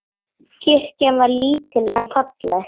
Kirkjan var lítil en falleg.